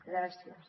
gràcies